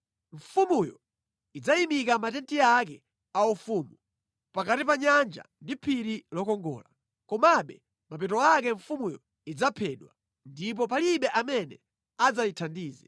Mfumuyo idzayimika matenti ake aufumu, pakati pa nyanja ndi phiri lokongola. Komabe mapeto ake mfumuyo idzaphedwa, ndipo palibe amene adzayithandize.”